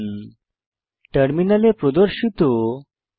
নিম্নলিখিত আউটপুট টার্মিনালে প্রদর্শিত হবে